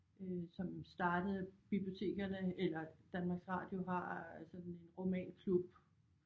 Øh som startede bibliotekerne eller Danmarks Radio har sådan en romanklub